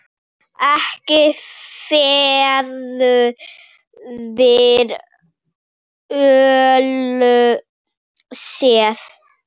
Ekki verður við öllu séð.